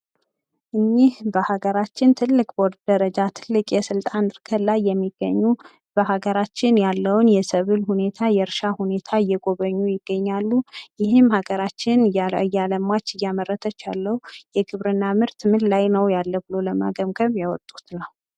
እኒህ በሃገራችን የስልጣን እድገት ላይ ትልቅ የስልጣን እድገት ላይ የሚገኙ በሀገራችን ያለውን የሰብሉ ሁኔታ፣ የርሻ ሁኔታ ፣ እየጎበኙ ይገኛሉ። ይህም ለሀገራችን እያለማች እያመረተች ያለው የግብርና አዝእርት ምርት ላይ ነው ብሎ ለመገምገም ያወጡት ነው።